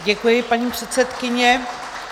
Děkuji, paní předsedkyně.